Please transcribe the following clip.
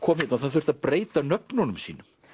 kom hérna og það þurfti að breyta nöfnunum sínum